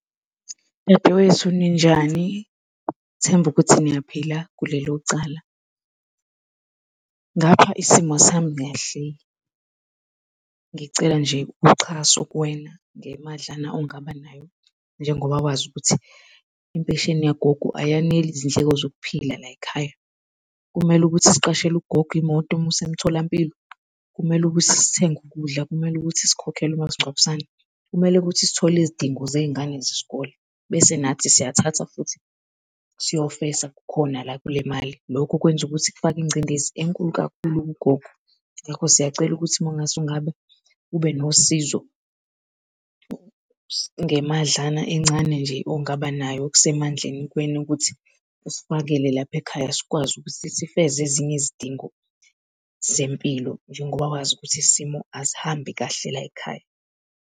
Dadewethu, ninjani? Ngithemba ukuthi niyaphila kulelo cala. Ngapha isimo asihambi kahle. Ngicela nje uxhaso kuwena ngemadlana ongabanayo, njengoba wazi ukuthi impesheni yagogo ayaneli izindleko zokuphila layikhaya. Kumele ukuthi siqashele ugogo imoto imuse emtholampilo, kumele ukuthi sithenge ukudla, kumele ukuthi sikhokhele umasingcwabisane, kumele ukuthi sithole izidingo zezingane zesikole, bese nathi siyayithatha futhi siyofesa khona la kule mali. Lokhu kwenza ukuthi kufake ingcindezi enkulu kakhulu kugogo. Ngakho siyacela ukuthi mongase ungabe ube nosizo ngemadlana encane nje ongabanayo okusemandleni kuwena ukuthi usifakele lapha ekhaya sikwazi ukuthi siveze ezinye izidingo zempilo njengoba wazi ukuthi isimo asihambi kahle layikhaya.